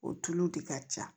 O tulu de ka ca